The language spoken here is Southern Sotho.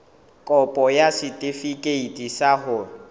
kopo ya setefikeiti sa ho